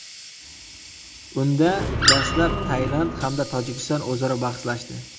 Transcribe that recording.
Unda dastlab, Tailand hamda Tojikiston o‘zaro bahslashdi.